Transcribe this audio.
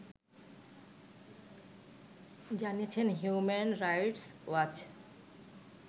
জানিয়েছে human rights watch